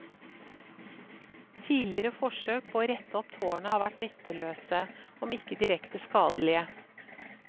Tidligere forsøk på å rette opp tårnet har vært nytteløse, om ikke direkte skadelige.